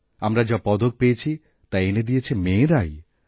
আমরা যা পদক পেয়েছি তা এনে দিয়েছে মেয়েরাই